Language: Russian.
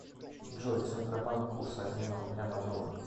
джой центробанк курс обмена рубля на доллар